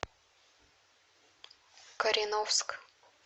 кореновск